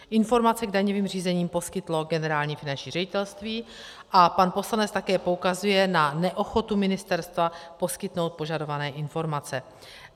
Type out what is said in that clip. Informaci k daňovým řízením poskytlo Generální finanční ředitelství a pan poslanec také poukazuje na neochotu ministerstva poskytnout požadované informace.